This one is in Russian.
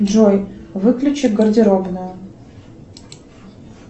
джой выключи гардеробную